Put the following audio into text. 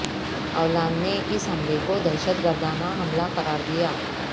Hollande نے اس حملے کو دہشت گردانہ حملہ قرار دیا